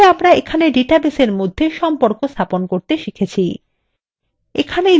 তাহলে আমরা এখানে ডাটাবেসের মধ্যে সম্পর্ক স্থাপন করতে শিখেছি